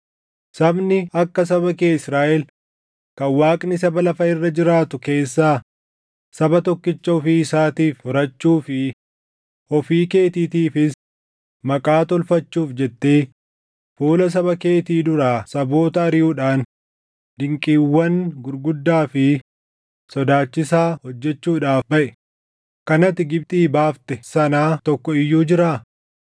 Sabni akka saba kee Israaʼel kan Waaqni saba lafa irra jiraatu keessaa saba tokkicha ofii isaatiif furachuu fi ofii keetiitiifis maqaa tolfachuuf jettee fuula saba keetii duraa saboota ariʼuudhaan dinqiiwwan gurguddaa fi sodaachisaa hojjechuudhaaf baʼe, kan ati Gibxii baafte sanaa tokko iyyuu jiraa?